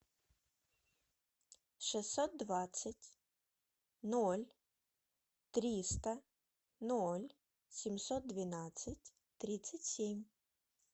шестьсот двадцать ноль триста ноль семьсот двенадцать тридцать семь